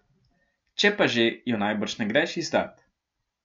Če pa že, jo najbrž ne greš izdat.